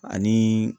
Ani